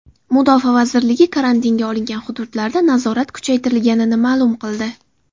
Mudofaa vazirligi karantinga olingan hududlarda nazorat kuchaytirilganini ma’lum qildi .